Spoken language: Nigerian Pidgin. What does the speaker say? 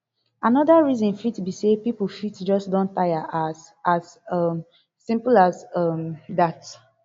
anoda reason fit be say pipo fit just don taya as as um simple as um dat